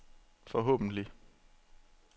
forhåbentlig